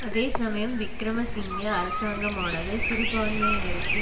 அதே சமயம் விக்கிரம சிங்க அரசாங்கமானது சிறுபான்மையினருக்கு